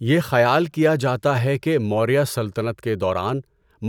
یہ خیال کیا جاتا ہے کہ موریہ سلطنت کے دوران